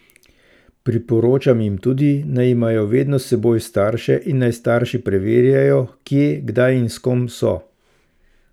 Priporočam jim tudi, naj imajo vedno s seboj starše in naj starši preverjajo, kje, kdaj in s kom so.